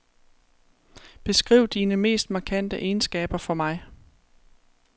Beskriv dine mest markante egenskaber for mig.